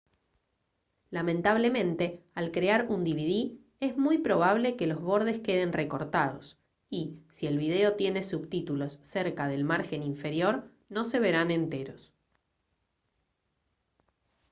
lamentablemente al crear un dvd es muy probable que los bordes queden recortados y si el vídeo tiene subtítulos cerca del margen inferior no se verán enteros